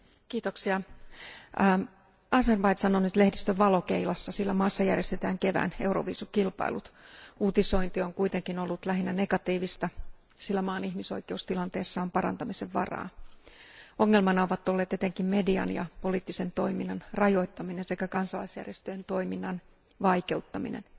Arvoisa puhemies, Azerbaidžan on nyt lehdistön valokeilassa, sillä maassa järjestetään kevään euroviisukilpailut. Uutisointi on kuitenkin ollut lähinnä negatiivista, sillä maan ihmisoikeustilanteessa on parantamisen varaa. Ongelmana ovat olleet etenkin median ja poliittisen toiminnan rajoittaminen sekä kansalaisjärjestöjen toiminnan vaikeuttaminen.